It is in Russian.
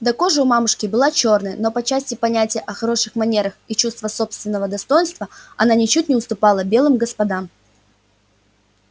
да кожа у мамушки была чёрная но по части понятия о хороших манерах и чувства собственного достоинства она ничуть не уступала белым господам